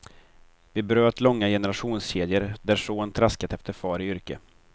Vi bröt långa generationskedjor där son traskat efter far i yrke.